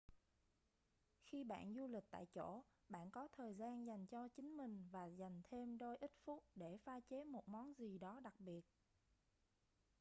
khi bạn du lịch tại chỗ bạn có thời gian dành cho chính mình và dành thêm đôi ít phút để pha chế một món gì đó đặc biệt